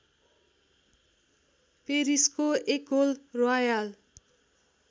पेरिसको एकोल र्‌वायाल